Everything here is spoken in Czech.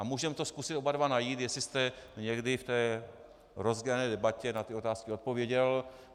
A můžeme to zkusit oba dva najít, jestli jste někdy v té rozdělené debatě na ty otázky odpověděl.